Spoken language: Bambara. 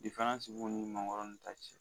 Diferansi b'o ni mangoro in ta cɛ